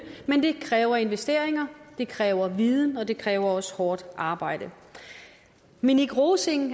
kræver investeringer det kræver viden og det kræver også hårdt arbejde minik rosing